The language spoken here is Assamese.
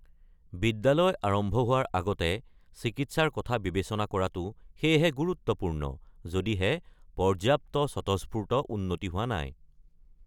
বিদ্যালয় আৰম্ভ হোৱাৰ আগতে চিকিৎসাৰ কথা বিবেচনা কৰাটো সেয়েহে গুৰুত্বপূৰ্ণ, যদিহে পৰ্যাপ্ত স্বতঃস্ফূৰ্ত উন্নতি হোৱা নাই।